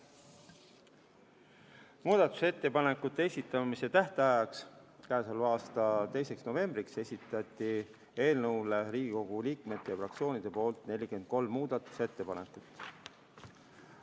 Muudatusettepanekute esitamise tähtajaks, k.a 2. novembriks esitati eelnõule Riigikogu liikmete ja fraktsioonide poolt 43 muudatusettepanekut.